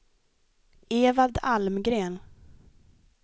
Evald Almgren